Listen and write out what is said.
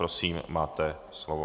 Prosím, máte slovo.